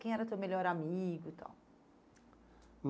Quem era teu melhor amigo e tal?